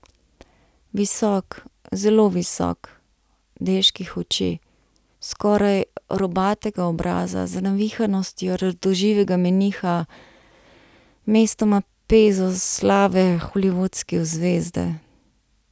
Visok, zelo visok, deških oči, skoraj robatega obraza, z navihanostjo radoživega meniha, mestoma pezo slave holivudske zvezde.